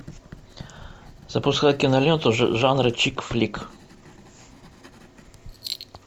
запускай киноленту жанра чик флик